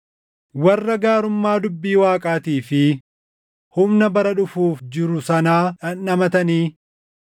warra gaarummaa dubbii Waaqaatii fi humna bara dhufuuf jiru sanaa dhandhamatanii